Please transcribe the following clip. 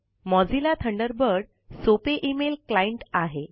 Mozilla Thunderbird सोपे email client आहे